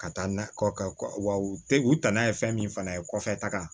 Ka taa nakɔ wa u tɛ u danna ye fɛn min fana ye kɔfɛ taga